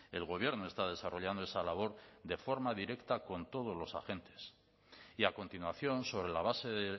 el gobierno está desarrollando esa labor de forma directa con todos los agentes y a continuación sobre la base de